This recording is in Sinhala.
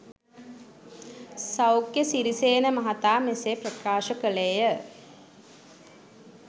සෞඛ්‍ය සිරිසේන මහතා මෙසේ ප්‍රකාශ කළේය.